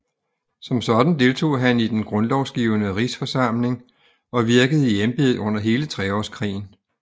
Som sådan deltog han i Den Grundlovgivende Rigsforsamling og virkede i embedet under hele Treårskrigen